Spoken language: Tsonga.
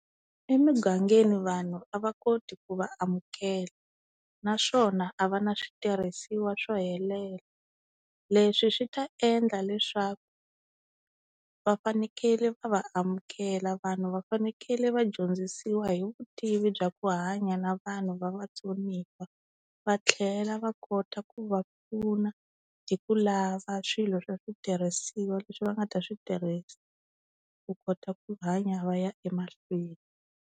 Emugangeni vanhu a va koti ku va amukela, naswona a va na switirhisiwa swo helela. Leswi swi ta endla leswaku va fanekele va va amukela vanhu va fanekele va dyondzisiwa hi vutivi bya ku hanya na vanhu va vatsoniwa, va tlhela va kota ku va pfuna hi ku lava swilo swa switirhisiwa leswi va nga ta swi tirhisa ku kota ku hanya va ya emahlweni.